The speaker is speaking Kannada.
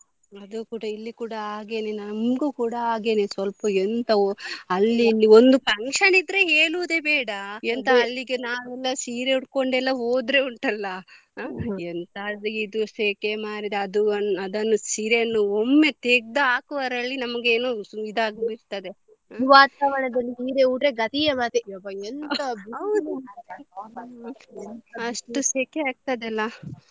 ಅದು ಕೂಡ ಇಲ್ಲಿ ಕೂಡ ಹಾಗೇನೇ ನಮ್ಗು ಕೂಡ ಹಾಗೇನೇ ಸ್ವಲ್ಪ ಎಂತ ಅಲ್ಲಿ ಇಲ್ಲಿ ಒಂದು function ಇದ್ರೆ ಹೇಳುದೇ ಬೇಡ ಅಲ್ಲಿಗೆ ನಾವೆಲ್ಲ ಸೀರೆ ಉಡ್ಕೊಂಡು ಎಲ್ಲ ಹೋದ್ರೆ ಉಂಟಲ್ಲ ಆ ಎಂತ ಇದು ಸೆಖೆ ಮಾರ್ರೆ ಅದು ಅದನ್ನು ಸೀರೆಯನ್ನು ಒಮ್ಮೆ ತೆಗ್ದು ಹಾಕುವಲ್ಲಿ ನಮ್ಗೆ ಏನು ಇದಾಗಿ ಬಿಡ್ತದೆ ಈ ವಾತಾವರಣದಲ್ಲಿ ಸೀರೆ ಉಟ್ರೆ ಗತಿಯೇ ಮತ್ತೆ ಎಬ್ಬ ಎಂತ ಅಷ್ಟು ಸೆಖೆ ಆಗ್ತದೆ ಅಲ್ಲ.